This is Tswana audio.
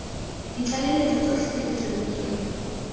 ditlaleletso tsotlhe tse di rebotsweng